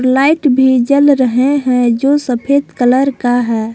Light भी जल रहे हैं जो सफेद कलर का है।